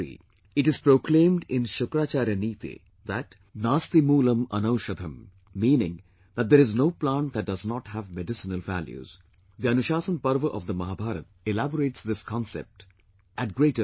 It is proclaimed in Shukracharya Neeti that 'naastimulam anaushadham' meaning that there is no plant that does not have medicinal values; the Anushasan Parv of the Mahabharta elaborates this concept at greater length